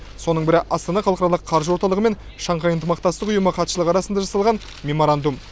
соның бірі астана халықаралық қаржы орталығы мен шанхай ынтымақтастық ұйымы хатшылығы арасында жасалған меморандум